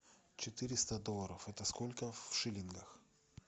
четыреста долларов это сколько в шиллингах